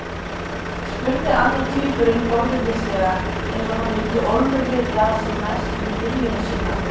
spurði annar tvíburinn forvitnislega, eins og hann vildi ólmur vita sem mest um gyðjuna sína.